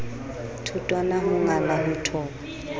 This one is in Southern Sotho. thotwana ho ngala ho thoba